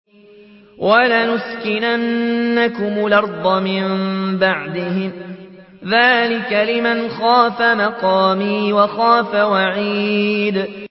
وَلَنُسْكِنَنَّكُمُ الْأَرْضَ مِن بَعْدِهِمْ ۚ ذَٰلِكَ لِمَنْ خَافَ مَقَامِي وَخَافَ وَعِيدِ